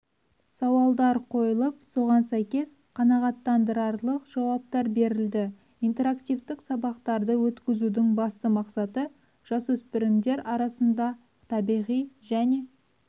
сауалдар қойылып соған сәйкес қанағаттандырарлық жауаптар берілді интерактивтік сабақтарды өткізудің басты мақсаты жасөспірімдер арасында табиғи және